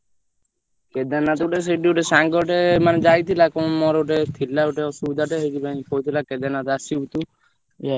କେଦାରନାଥରେ ଗୋଟେ ସେଇଠି ଗୋଟେ ସାଙ୍ଗଟେ ମାନେ ଯାଇଥିଲା କଣ ମୋର ଗୋଟେ? ଥିଲା ଗୋଟେ ଅସୁବିଧାଟା ସେଇଥିପଇଁ କହୁଥିଲା କେଦାରନାଥ ଆସିବୁ ତୁ ପୂଜା କରିବୁ।